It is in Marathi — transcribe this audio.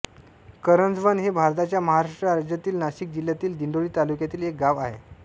करंजवन हे भारताच्या महाराष्ट्र राज्यातील नाशिक जिल्ह्यातील दिंडोरी तालुक्यातील एक गाव आहे